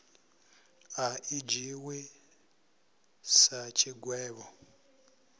a i dzhiiwi sa tshigwevho